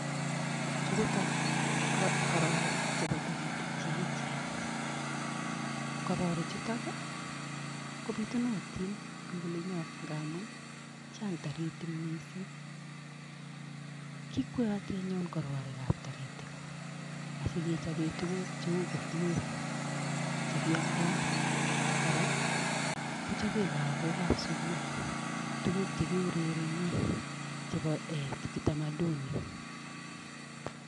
Chu ko kororiik chebo toritik che echeen, kororikchuton kobiitunotin en olinyoon ngamun chang toriitik missing, kikwootii anyun kororiik ab toritik asikechoben tuguuk cheu kofiok chekioldoo. Kora kochoben lagook ab sugul tuguk chekiurereneen chebo utamaduni.